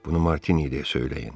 Bunu Martiniyə söyləyin.